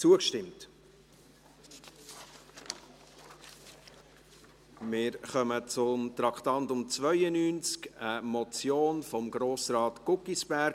Wir kommen zum Traktandum 92, einer Motion von Grossrat Guggisberg: